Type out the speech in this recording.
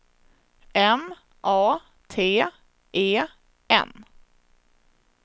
M A T E N